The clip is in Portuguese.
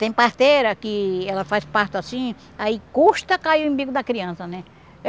Tem parteira que ela faz parto assim, aí custa cair o imbigo da criança, né?